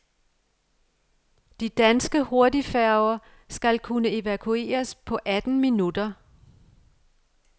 De danske hurtigfærger skal kunne evakueres på atten minutter.